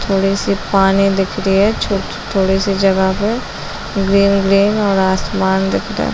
थोड़ी -सी पानी दिख रही है छो थोड़ी -सी जगह में ग्रीन -ग्रीन और आसमान दिख रहे हैं ।.